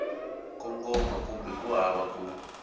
kongoma kumbe ku hava ku